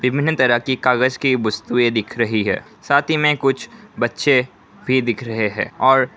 विभिन्न तरह कागज की वस्तुएं दिख रही है साथ ही में कुछ बच्चे भी दिख रहे हैं और--